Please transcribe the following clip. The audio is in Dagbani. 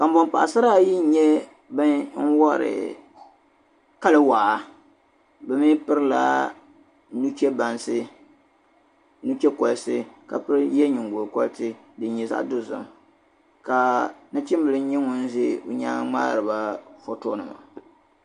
Kanbɔn paɣasara ayi n nyɛ ban wari kali waa, bɛ mi pirila nuche bansi ni che kpalisi ka ye nyiŋgo kolisi din nyɛ zaɣi dozim ka nachimbili nyɛ ŋun ʒɛ nyaaŋ n mŋaariba fɔtonima